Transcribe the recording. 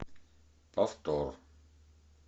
повтор